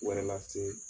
Wɛrɛ lase